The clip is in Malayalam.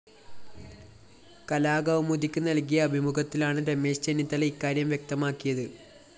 കലാകൗമുദിക്ക് നല്‍കിയ അഭിമുഖത്തിലാണ് രമേശ് ചെന്നിത്തല ഇക്കാര്യം വ്യക്തമാക്കിയത്